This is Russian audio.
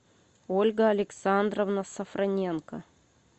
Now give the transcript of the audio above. ольга александровна сафроненко